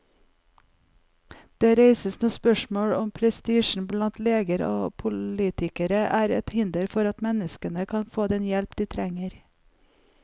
Det reises nå spørsmål om prestisjen blant leger og politikere er et hinder for at mennesker kan få den hjelpen de trenger.